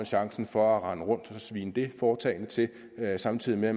chancen for at rende rundt og svine det foretagende til samtidig med at